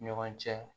Ni ɲɔgɔn cɛ